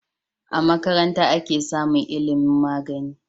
A makaranta ake samun ilimun magani